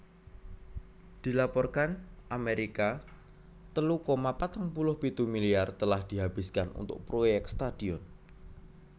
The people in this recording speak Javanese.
Dilaporkan Amerika telu koma patang puluh pitu miliar telah dihabiskan untuk proyek stadion